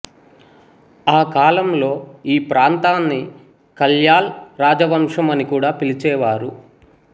ఆ కాలంలో ఈ ప్రాంతాన్ని కళ్యాల్ రాజవంశం అని కూడా పిలిచేవారు